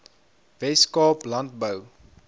wes kaap landbou